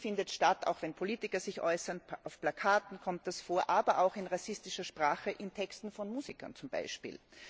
Und die findet statt, auch wenn Politiker sich äußern, auf Plakaten kommt das vor, aber auch in rassistischer Sprache in Texten von Musikern zum Beispiel.